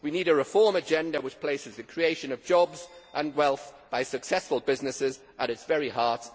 We need a reform agenda which places the creation of jobs and wealth by successful businesses at its very heart.